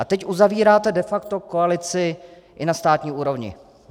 A teď uzavíráte de facto koalici i na státní úrovni.